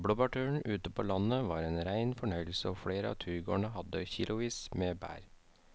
Blåbærturen ute på landet var en rein fornøyelse og flere av turgåerene hadde kilosvis med bær.